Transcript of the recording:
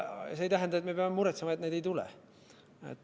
See ei tähenda, et me peame muretsema, et neid ei tule.